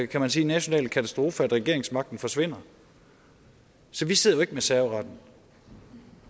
kan man sige nationale katastrofe at regeringsmagten forsvinder så vi sidder ikke med serveretten og